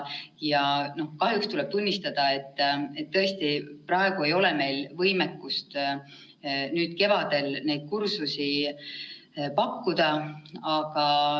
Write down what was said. Kahjuks tuleb tunnistada, et praegu tõesti ei ole meil võimekust neid kursusi pakkuda.